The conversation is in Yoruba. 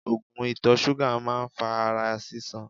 Oògùn ìtọ̀ ṣúgà máa ń fa ara sísan.